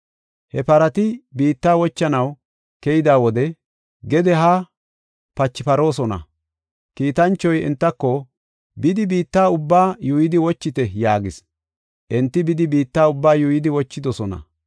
He parati biitta wochanaw keyida wode gede haa pachiparoosona. Kiitanchoy entako, “Bidi biitta ubbaa yuuyidi wochite” yaagis. Enti bidi biitta ubbaa yuuyidi wochidosona.